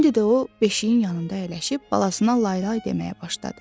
İndi də o, beşiyin yanında əyləşib balasına lay-lay deməyə başladı.